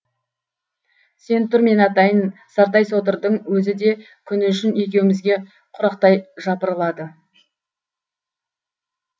сен тұр мен атайын сартай содырдың өзі де күні үшін екеуімізге құрақтай жапырылады